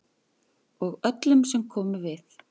Og öllum sem komu við.